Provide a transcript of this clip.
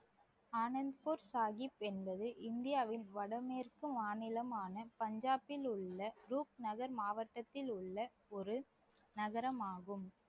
ஆனந்த்பூர் சாஹிப் என்பது இந்தியாவில் வடமேற்கு மாநிலமான பஞ்சாபில் உள்ள குரூப் நகர் மாவட்டத்தில் உள்ள ஒரு நகரமாகும்